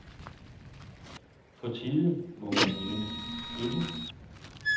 På tide må man mene, ikke?